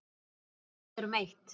Þú og ég erum eitt.